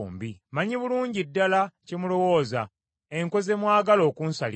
“Mmanyi bulungi ddala kye mulowooza, enkwe ze mwagala okunsalira.